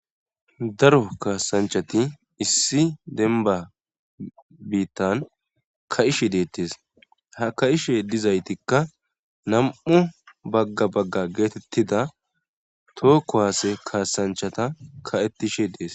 daro kaasanchati issi denba biittan ka ishe deettes ha ka7ishe dizaytikka nam7u bagga bagga geetettida tookko haase kaasanchata ka7ettishe dees